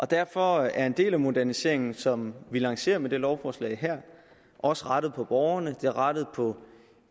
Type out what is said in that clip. derfor er en del af moderniseringen som vi lancerer med det lovforslag her også rettet mod borgerne det er rettet mod